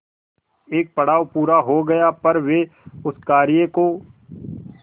एक पड़ाव पूरा हो गया पर वे उस कार्य को